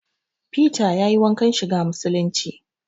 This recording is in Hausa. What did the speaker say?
Fita yayi wankan shiga musulunci